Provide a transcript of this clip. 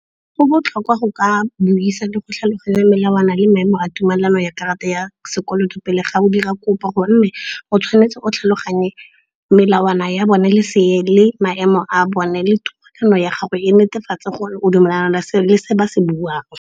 Go botlhokwa go ka buisa le go tlhaloganya melawana le maemo a tumelano ya karata ya sekoloto pele ga o dira kopo. Gonne o tshwanetse o tlhaloganye melawana ya bone le seele, maemo a bone le tumelano ya gago e netefatse gore o dumelelana le seo ba se buang.